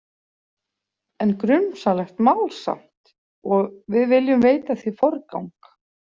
En grunsamlegt mál samt og við viljum veita því forgang.